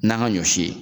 N'an ka ɲɔ si